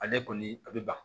Ale kɔni a bɛ ban